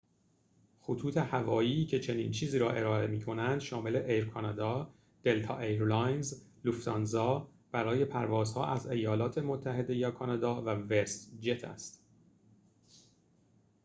خطوط هوایی که چنین چیزی را ارائه می‌کنند شامل ایر کانادا دلتا ایرلاینز لوفت‌هانزا برای پروازها از ایالات متحده یا کانادا و وست جت است